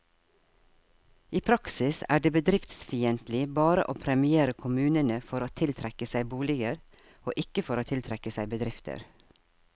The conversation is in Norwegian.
I praksis er det bedriftsfiendtlig bare å premiere kommunene for å tiltrekke seg boliger, og ikke for å tiltrekke seg bedrifter.